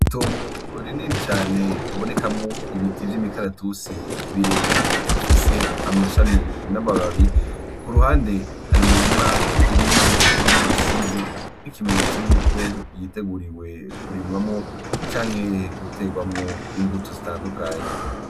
Tongu uriniri cane habonekamwo ibiti vyo imikaratusi birebire bifise amashami n'abababi ku ruhande hari imirima irimye irimwu busizi nk'ikimenyetso yuko yiteguriwe kurimwamwo canke guterwamwo imbuto zitandukanye.